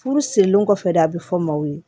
Furu sirilen kɔfɛ de a bɛ fɔ maaw ye